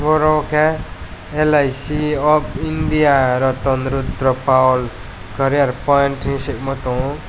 oro ke lic of india ratan rudra poul career point hing sigkma tongyo.